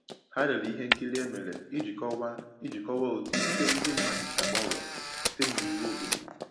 Ha lere ihe nkiri e mere iji kọwaa iji kọwaa otu ikike ndi mmadụ si agbanwe site n’iwu obodo.